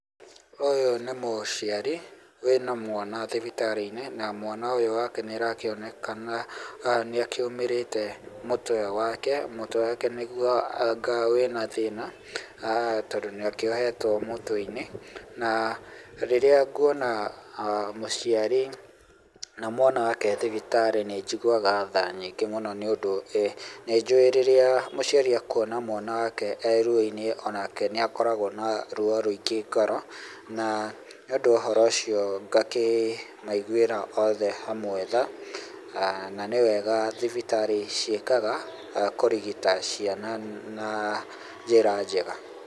Ũyũ nĩ mũciarĩ wĩna mwana thibitarĩ-inĩ na mwana ũyũ wake nĩ arakĩonekana nĩ akĩũmĩrĩte mũtwe wake, mũtwe wake nĩguo anga wĩna thĩna aah tondũ nĩ akĩohetwo mũtwe-inĩ na rĩrĩa ngwona mũciari na mwaka wake ethibitarĩ nĩ njiguaga thaa nyingĩ mũno nĩ ũndũ nĩ njũĩ rĩrĩa mũciari ekwona mwana wake ee ruoinĩ onake nĩ akoragwo na ruo rũingĩ ngoro na nĩ ũndũ wa ũhoro ũcio ngaakĩmaiguĩra othe hamwe tha aah na nĩ wega thibitarĩ ciĩkaga kũrigita ciana na njĩra njega